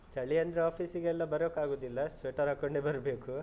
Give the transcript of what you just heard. ಚಳಿ ಅಂದ್ರೆ office ಗೆಲ್ಲ ಬರೋಕಾಗುದಿಲ್ಲ, sweater ಹಾಕೊಂಡೇ ಬರ್ಬೇಕು.